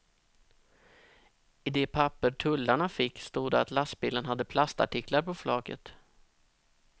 I de papper tullarna fick stod det att lastbilen hade plastartiklar på flaket.